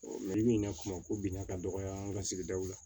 kuma ko binna ka dɔgɔya an ka sigidaw la